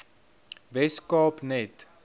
wes kaap net